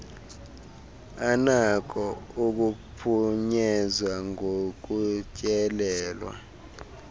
anako ukuphunyezwa ngokutyelelwa